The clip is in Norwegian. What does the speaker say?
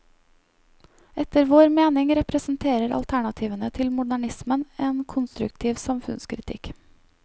Etter vår mening representerer alternativene til modernismen en konstruktiv samfunnskritikk.